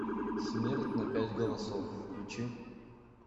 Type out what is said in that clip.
смерть на пять голосов включи